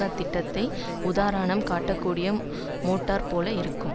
அத்திட்டத்தை உதாரணம் காட்டக்கூடிய மோட்டார் போல இருக்கும்